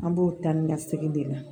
An b'o ta ni ka segin de la